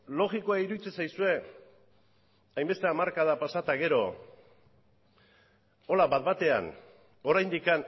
logikoa iruditzen zaizue hainbeste hamarkada pasa eta gero horrela bat batean oraindik